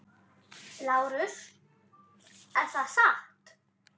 LÁRUS: Er það satt?